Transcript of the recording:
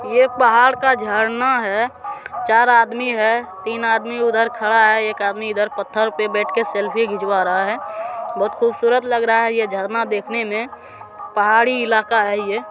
यह एक पहाड़ का झरना है | चार आदमी है तीन आदमी उधर खड़ा है एक आदमी इधर पत्थर पर बैठकर सेल्फी खिंचवा रहा है | बहुत खूबसूरत लग रहा है यह झरना देखने में | पहाड़ी इलाका है यह |